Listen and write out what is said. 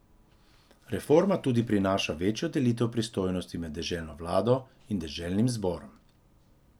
Reforma tudi prinaša večjo delitev pristojnosti med deželno vlado in deželnim zborom.